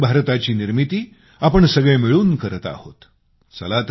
या नवीन भारताची निर्मिती आपण सगळे मिळून करीत आहोत